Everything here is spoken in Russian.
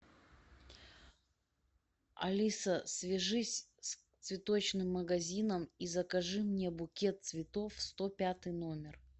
алиса свяжись с цветочным магазином и закажи мне букет цветов в сто пятый номер